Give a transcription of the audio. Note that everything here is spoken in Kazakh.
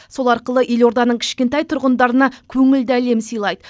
сол арқылы елорданың кішкентай тұрғындарына көңілді әлем сыйлайды